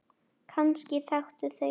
Kannski þekktu þau hann.